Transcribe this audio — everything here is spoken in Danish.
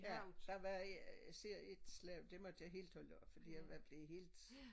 Ja der var især ét slem det måtte jeg helt holde op for jeg var ved at blive helt